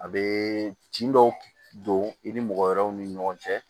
A bɛ tin dɔw don i ni mɔgɔ wɛrɛw ni ɲɔgɔn cɛ